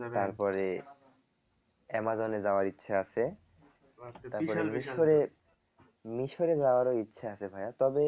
তারপরে অ্যামাজনে যাওয়ার ইচ্ছা আছে মিশরে যাওয়ারও ইচ্ছা আছে ভাইয়া তবে